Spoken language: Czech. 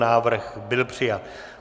Návrh byl přijat.